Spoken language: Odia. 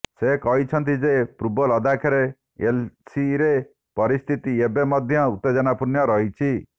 ସେ କହିଛନ୍ତି ଯେ ପୂର୍ବ ଲଦାଖରେ ଏଲଏସିରେ ପରିସ୍ଥିତି ଏବେ ମଧ୍ୟ ଉତ୍ତେଜନା ପୂର୍ଣ୍ଣ ରହିଛି